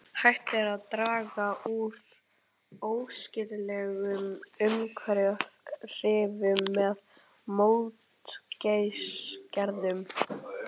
Hægt er að draga úr óæskilegum umhverfisáhrifum með mótvægisaðgerðum.